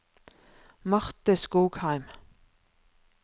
Marte Skogheim